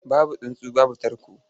Babu tsuntsu babu tarko.